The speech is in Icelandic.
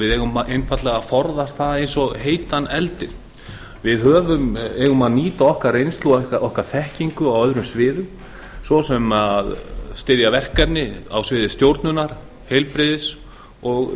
við eigum einfaldlega að forðast það eins og heitan eldinn við eigum að nýta reynslu okkar og þekkingu á öðrum sviðum ss að styðja verkefni á sviði stjórnunar heilbrigðis og